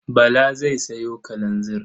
Bala zai sayo kalanzir.